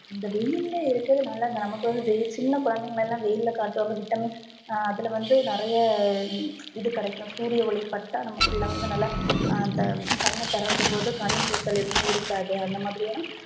இந்த வெயில்ல இருக்கறது நல்லதுதா நமக்கு வந்து வெயில் சின்ன கொழந்தைங்களா வெயில்ல காட்டுவாங்க vitamin ஹம் அதுல வந்து நிறைய இது கிடைக்கும் சூரிய ஒலி பட்டா நம்ம புள்ள நல்லா அந்த கண்ணு திறக்கும் போது கண் கூசல் எதுவுமே இருக்காது அந்த மாதிரியான